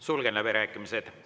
Sulgen läbirääkimised.